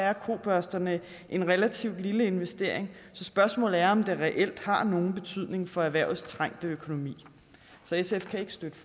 er kobørsterne en relativt lille investering så spørgsmålet er om det reelt har nogen betydning for erhvervets trængte økonomi sf kan ikke støtte